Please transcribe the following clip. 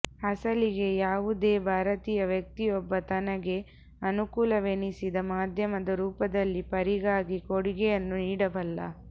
ಅಸಲಿಗೆ ಯಾವುದೇ ಭಾರತೀಯ ವ್ಯಕ್ತಿಯೊಬ್ಬ ತನಗೆ ಅನುಕೂಲವೆನಿಸಿದ ಮಾಧ್ಯಮದ ರೂಪದಲ್ಲಿ ಪರಿಗಾಗಿ ಕೊಡುಗೆಯನ್ನು ನೀಡಬಲ್ಲ